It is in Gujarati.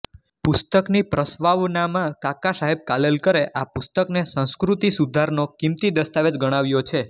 પુસ્તકની પ્રસ્વાવનામાં કાકા સાહેબ કાલેલકરે આ પુસ્તકને સંસ્કૃતિ સુધારનો કીમતી દસ્તાવેજ ગણાવ્યો છે